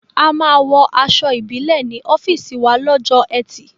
A máa wọ aṣọ Ìbílẹ̀ ní ọ́fíìsì wa lọ́jọ́ ẹtì